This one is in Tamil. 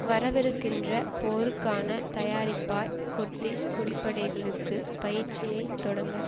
வரவிருக்கின்ற போருக்கான தயாரிப்பாய் குர்திஷ் குடிப்படைகளுக்கு பயிற்சியைத் தொடங்க